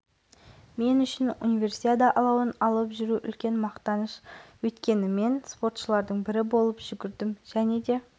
жастардың концерттік бағдарламасымен басталды қысқы студенттер ойынының эстафеталық алауын өңір басшысы жағып оны көркем гимнастика